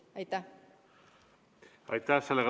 Aitäh!